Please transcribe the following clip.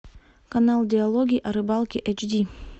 канал диалоги о рыбалке эйч ди